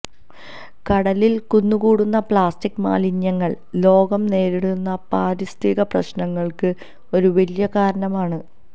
കടലിൽ കുന്നുകൂടുന്ന പ്ലാസ്റ്റിക് മാലിന്യങ്ങൾ ലോകം നേരിടുന്ന പാരിസ്ഥിതിക പ്രശ്നങ്ങള്ക്ക് ഒരു വലിയ കാരണമാണ്